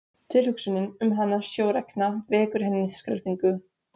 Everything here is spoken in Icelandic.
Tilhugsunin um hana sjórekna vekur henni skelfingu.